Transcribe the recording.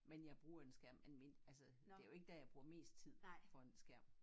Men jeg bruger en skærm altså det jo ikke der jeg bruger mest til foran en skærm